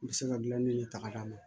N bɛ se ka gilan ni tagaa d'a ma